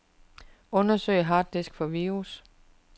Undersøg harddisk for virus.